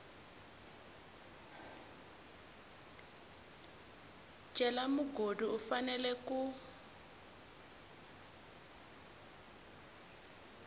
cela mugodi u fanela ku